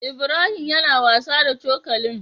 Ibrahim yAna wasa da cokalin